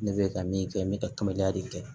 Ne bɛ ka min kɛ n bɛ ka kibariya de kɛ